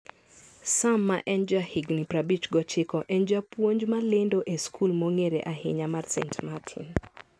Sam, ma en jahigini 59, en japuonj malendo e skul mong'ere ahinya mar St. Martin.